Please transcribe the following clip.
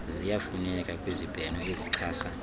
ziyafuneka kwizibheno ezichasa